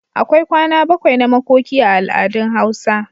akwai kwana bakwai na makoki a al'adun hausa